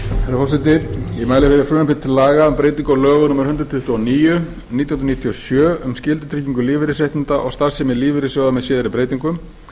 breyting á lögum númer hundrað tuttugu og níu nítján hundruð níutíu og sjö um skyldutryggingu lífeyrisréttinda og starfsemi lífeyrissjóða með síðari breytingum